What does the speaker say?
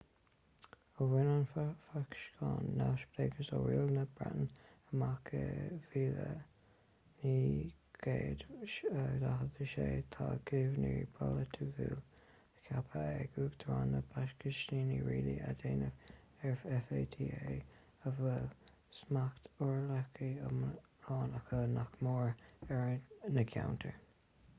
ó bhain an phacastáin neamhspleáchas ó riail na breataine amach i 1947 tá gníomhairí polaitiúla ceaptha ag uachtarán na pacastáine rialú a dhéanamh ar fata a bhfuil smacht uathrialach iomlán acu nach mór ar na ceantair